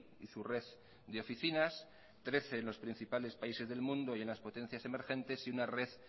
y su red de oficinas trece en los principales países del mundo y en las potencias emergentes y una red